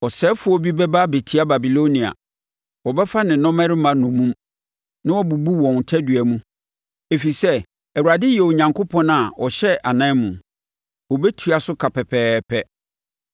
Ɔsɛefoɔ bi bɛba abɛtia Babilonia; wɔbɛfa ne nnɔmmarima nnommum na wɔbɛbubu wɔn tadua mu. Ɛfiri sɛ Awurade yɛ Onyankopɔn a ɔhyɛ anan mu; ɔbɛtua so ka pɛpɛɛpɛ.